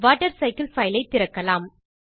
water cycle file ஐ திறக்கலாம்